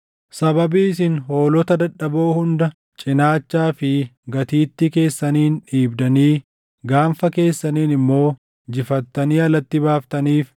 Sababii isin hoolota dadadhaboo hunda cinaachaa fi gatiittii keessaniin dhiibdanii, gaanfa keessaniin immoo jifattanii alatti baaftaniif,